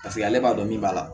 Paseke ale b'a dɔn min b'a la